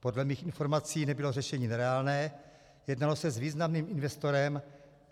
Podle mých informací nebylo řešení nereálné, jednalo se s významným investorem.